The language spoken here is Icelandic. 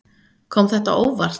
Kom þetta á óvart.